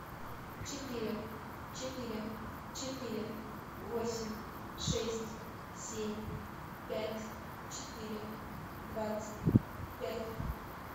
четыре четыре четыре восемь шесть семь пять четыре двадцать пять